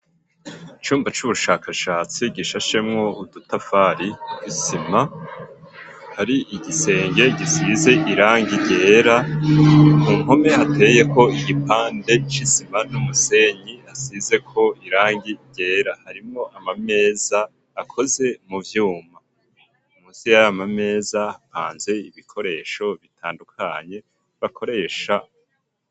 Icumba c'ubushakashatsi gishashemwo udutafari isima hari igisenge gisize irangi ryera mumpome hateyeko igipande c'isima n'umusenyi hasizeko irangi ryera harimwo amameza akoze mu vyuma munsi yayo mameza hapanze ibikoresho bitandukanye bakoresha.